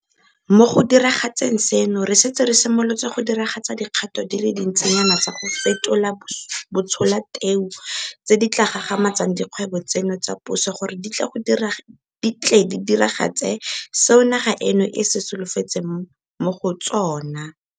Mo go diragatseng seno, re setse re simolotse go diragatsa dikgato di le dintsinyana tsa go fetola batsholateu tse di tla gagamatsang dikgwebo tseno tsa puso gore di tle di diragatse seo naga eno e se solofetseng mo go tsona.